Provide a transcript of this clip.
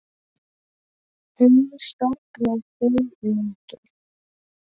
Hún saknar þín mikið.